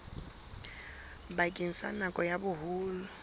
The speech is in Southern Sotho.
bakeng sa nako ya boholo